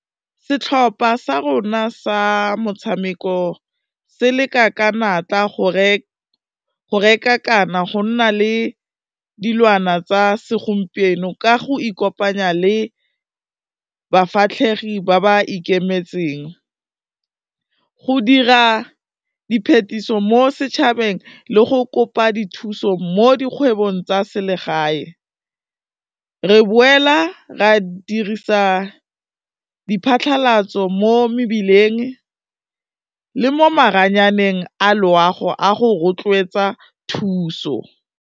Setlhopha sa rona sa motshameko se leka ka natla go reka kana go nna le dilwana tsa segompieno ka go ikopanya le bafatlhege ba ba ikemetseng, go dira di phetiso mo setšhabeng le go kopa dithuso mo dikgwebong tsa selegae, re boela ra dirisa diphatlhalatso mo mebileng le mo maranyaneng a loago, a go rotloetsa thuso.